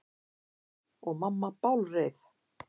Og mamma bálreið.